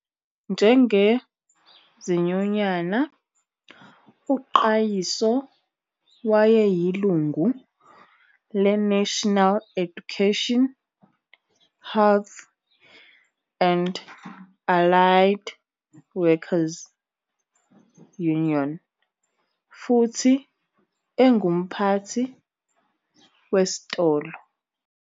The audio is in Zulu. Njengezinyunyana, uQayiso wayeyilungu leNational Education, Health and Allied Workers 'Union futhi engumphathi wesitolo.